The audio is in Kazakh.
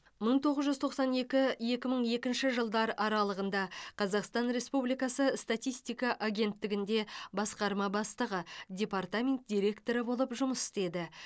мың тоғыз жүз тоқсан екі екі мың екінші жылдар аралығында қазақстан республикасы статистика агенттігінде басқарма бастығы департамент директоры болып жұмыс істеді